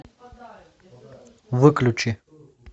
выключи